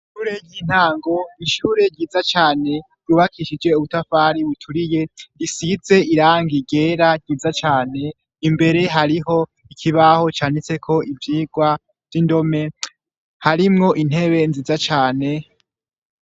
Ishure ry'intango; ishure ryiza cane ryubakishije ubutafari buturiye; Isize irangi ryera ryiza cane. Imbere hariho ikibaho canditseko ivyigwa vy' indome, harimwo intebe nziza cane.